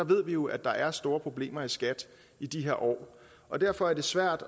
ved jo at der er store problemer i skat i de her år og derfor er det svært